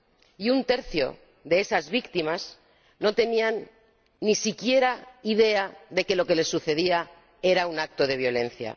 Y un tercio de esas víctimas no tenían ni siquiera idea de que lo que les sucedía era un acto de violencia.